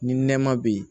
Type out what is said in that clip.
Ni nɛma be yen